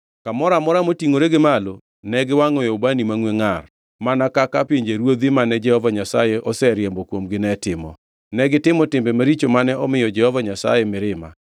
Kamoro amora motingʼore gi malo ne giwangʼoe ubani mangʼwe ngʼar, mana kaka pinjeruodhi mane Jehova Nyasaye oseriembo kuomgi ne timo. Negitimo timbe maricho mane omiyo Jehova Nyasaye mirima.